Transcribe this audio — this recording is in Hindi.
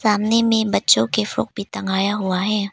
सामने में बच्चों के फ्रॉक भी टंगाया हुआ है।